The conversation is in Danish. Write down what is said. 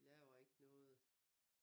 De laver ikke noget